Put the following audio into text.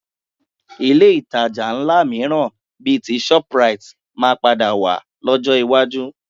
Ilé ìtajà ńlá mìíràn bíi ti shoprite máa padà wà lọ́jọ́ iwájú